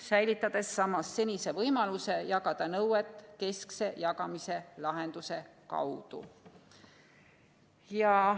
Samas säilib senine võimalus jagada nõudeid keskse jagamise lahenduse kaudu.